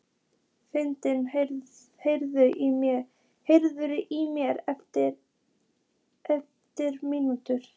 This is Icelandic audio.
Frida, heyrðu í mér eftir ellefu mínútur.